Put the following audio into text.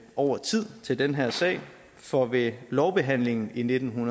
over tid til den her sag for ved lovbehandlingen i nitten